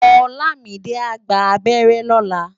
Olamide á gbá ábèrè lòlá